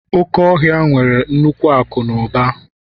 Oke ọhịa nwere nnukwu akụ na ụba